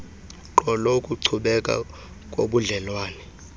gqolo ukuchubeka kobudlelwane